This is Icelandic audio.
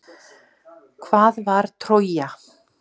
Hvað var Trója?